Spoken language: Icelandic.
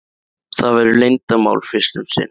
Það verður leyndarmál fyrst um sinn.